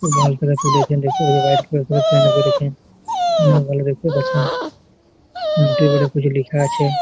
খুব ভাল করে তুলেছেন করেছেন অনেক ভালো দেখতে পাচ্ছেন আংগঠি উপরে কিছু লিখা আছে-এ--